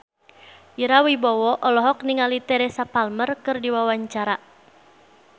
Ira Wibowo olohok ningali Teresa Palmer keur diwawancara